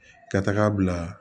Ka taga bila